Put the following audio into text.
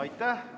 Aitäh!